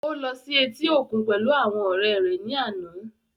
Ó lọ sí etí òkun pẹ̀lú àwọn ọ̀rẹ́ rẹ̀ ní àná